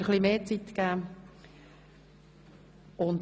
Ich habe Ihnen ein bisschen mehr Zeit gegeben.